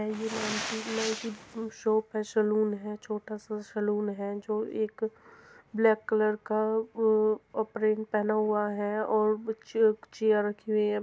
Shop है saloon हैछोटा सा सलून है जो एक ब्लेक कलर का अ अप्प्रैन पहना हुआ है और चेय-चेयर रखी हुई है।